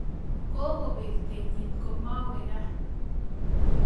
Kokobek kenyit ako mawe gaa